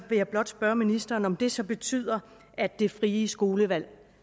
jeg blot spørge ministeren om det så betyder at det frie skolevalg